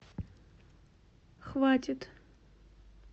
хватит